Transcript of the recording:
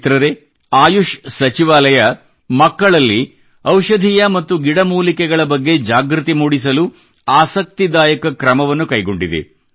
ಮಿತ್ರರೇ ಆಯುಷ್ ಸಚಿವಾಲಯವು ಮಕ್ಕಳಲ್ಲಿ ಔಷಧೀಯ ಮತ್ತು ಗಿಡಮೂಲಿಕೆಗಳ ಸಸ್ಯಗಳ ಬಗ್ಗೆ ಜಾಗೃತಿ ಮೂಡಿಸಲು ಆಸಕ್ತಿದಾಯಕ ಕ್ರಮವನ್ನು ಕೈಗೊಂಡಿದೆ